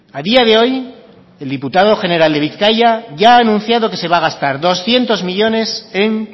a día de hoy el diputado general de bizkaia ya ha anunciado que se va a gastar doscientos millónes en